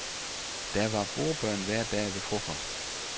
Der var bordbøn hver dag ved frokost.